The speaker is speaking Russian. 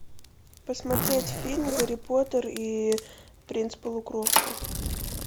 посмотреть фильм гарри поттер и принц полукровка